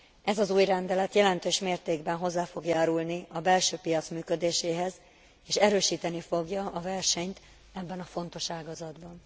Ez az új rendelet jelentős mértékben hozzá fog járulni a belső piac működéséhez, és erősíteni fogja a versenyt ebben a fontos ágazatban.